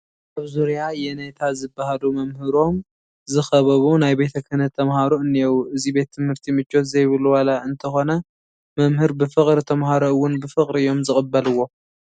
ኣብ ዙርያ የነታ ዝበሃሉ መምህሮም ዝኸበቡ ናይ ቤተ ክህናት ተመሃሮ እኔዉ፡፡ እዚ ቤት ትምህርቲ ምቾት ዘይብሉ ዋላ እንተኾነ መምህር ብፍቕሪ ተመሃሮ እውን ብፍቕሪ እዮም ዝቕበልዎ፡፡